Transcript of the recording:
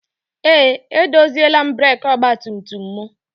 Eé, edoziela m breekị ọgbatumtum m.